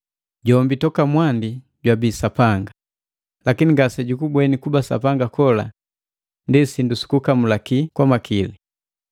Jombi toka mwandi jwabii Sapanga, lakini ngasejukubweni kuba Sapanga kola ndi sindu sukukamulaki kwa makili.